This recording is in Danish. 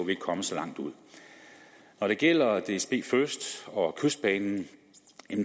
ikke kommet så langt ud når det gælder dsbfirst og kystbanen